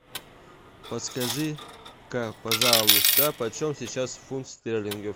подскажи ка пожалуйста почем сейчас фунт стерлингов